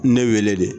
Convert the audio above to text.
Ne wele de